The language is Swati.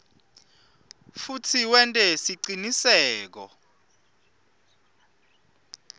futsi wente siciniseko